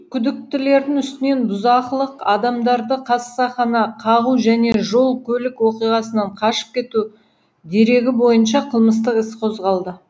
күдіктілердің үстінен бұзақылық адамдарды қасақана қағу және жол көлік оқиғасынан қашып кету дерегі бойынша қылмыстық іс қозғалды